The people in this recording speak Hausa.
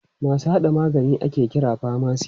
Masu haɗa magani ake kira famasi.